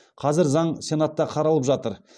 қазір заң сенатта қаралып жатыр